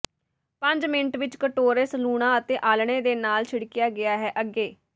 ਪੰਜ ਮਿੰਟ ਵਿਚ ਕਟੋਰੇ ਸਲੂਣਾ ਅਤੇ ਆਲ੍ਹਣੇ ਦੇ ਨਾਲ ਛਿੜਕਿਆ ਗਿਆ ਹੈ ਅੱਗੇ